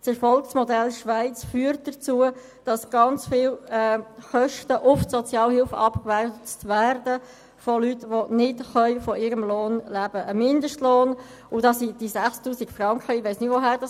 Dieses führt vielmehr dazu, dass sehr hohe Kosten für Menschen, die nicht von ihrem Lohn leben können, auf die Sozialhilfe abgewälzt werden.